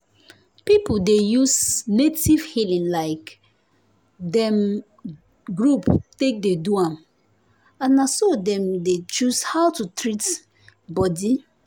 people dey use native healing like dem group take dey do am um and na so dem dey choose how to take treat body.